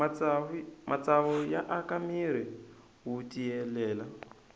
matsavu ya aka mirhi wu tiyelela